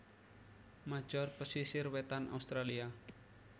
major pesisir wétan Australia